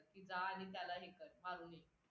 जा आणि त्याला हे कर